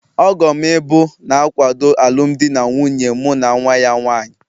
Ọgom ịbụ, na-akwado alụmdi na nwunye mụ na nwa ya nwanyị.